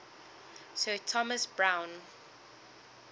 sir thomas browne